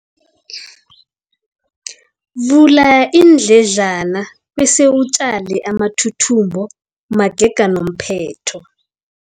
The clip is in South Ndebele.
Vula iindledlana bese utjale amathuthumbo magega nomphetho.